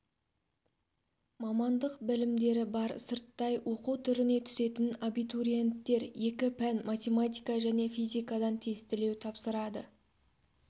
мамандық білімдері бар сырттай оқу түріне түсетін абитуриенттер екі пән математика және физикадан тестілеу тапсырады